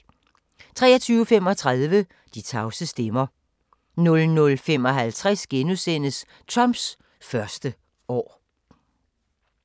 23:35: De tavse stemmer 00:55: Trumps første år *